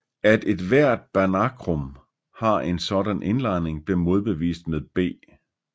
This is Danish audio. At ethvert Banachrum har en sådan indlejring blev modbevist med B